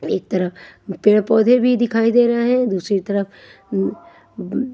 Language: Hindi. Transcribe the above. एक तरफ पेड़ पौधे भीं दिखाई दे रहें हैं दूसरी तरफ अम अम--